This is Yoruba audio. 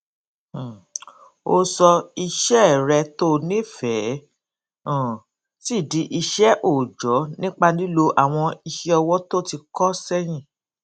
um o sọ iṣẹ rẹ to nifẹẹ um si di iṣẹ oojọ nipa lilo awọn iṣẹọwọ to ti kọ sẹyin